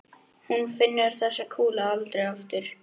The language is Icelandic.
Hún finnur þessa kúlu aldrei aftur.